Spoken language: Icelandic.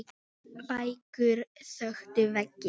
Bækur þöktu veggi.